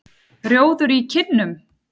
Rjóður í kinnum.